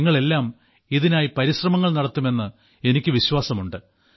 നിങ്ങളെല്ലാം ഇതിനായി പരിശ്രമങ്ങൾ നടത്തുമെന്ന് എനിക്ക് വിശ്വാസമുണ്ട്